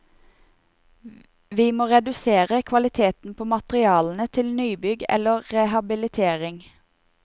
Vi må reduserer kvaliteten på materialene til nybygg eller rehabilitering.